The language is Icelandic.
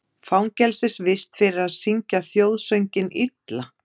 Fangelsisvist fyrir að syngja þjóðsönginn illa